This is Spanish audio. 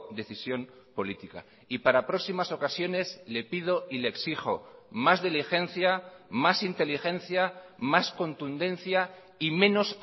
decisión política y para próximas ocasiones le pido y le exijo más diligencia más inteligencia más contundencia y menos